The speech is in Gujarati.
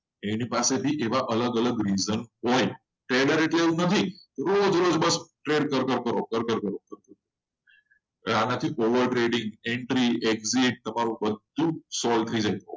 એની પાસે બે એવા અલગ અલગ રીધમ હોય trader એટલે એવું નથી કે રોજ રોજ trade કર્યા. trade કર કરો. આનાથી વધારે tradingentry exit બધું જ solve થઈ જાય.